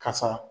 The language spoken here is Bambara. Kasa